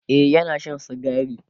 e Yana Shan sigari